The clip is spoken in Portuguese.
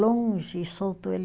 Longe, soltou ele.